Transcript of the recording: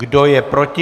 Kdo je proti?